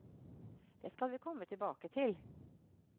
Det skal vi komme tilbake til.